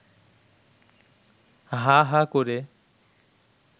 হা হা করে